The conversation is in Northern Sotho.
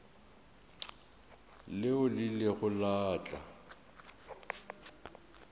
leo le ilego la tla